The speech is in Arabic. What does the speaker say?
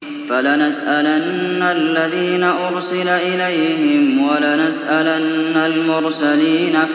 فَلَنَسْأَلَنَّ الَّذِينَ أُرْسِلَ إِلَيْهِمْ وَلَنَسْأَلَنَّ الْمُرْسَلِينَ